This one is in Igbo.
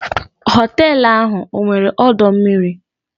Họtelu ahụ ọ nwere ọdọ mmiri?